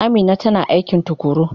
Amina tana aiki tukuru.